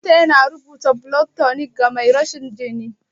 Likita yana rubuta blood tonic ga mai rashin jini.